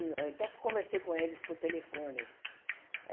En então, fui conversei com eles por telefone.